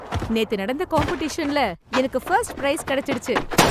நேத்து நடந்த காம்படிஷன்ல எனக்கு ஃபர்ஸ்ட் பிரைஸ் கிடைச்சிடுச்சு